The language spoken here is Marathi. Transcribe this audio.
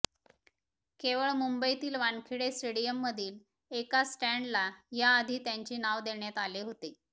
केवळ मुंबईतील वानखेडे स्टेडियममधील एका स्टॅन्डला याआधी त्यांचे नाव देण्यात आले होते